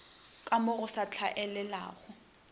ka mo go sa tlwaelegago